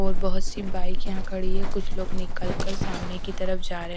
और बहुत सी बाइक यहाँ खड़ी है कुछ लोग निकल कर सामने की तरफ जारे--